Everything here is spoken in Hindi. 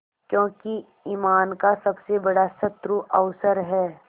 क्योंकि ईमान का सबसे बड़ा शत्रु अवसर है